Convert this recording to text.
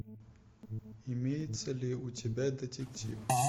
имеется ли у тебя детектив